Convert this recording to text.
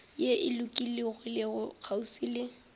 ye e lokologilego kgauswi le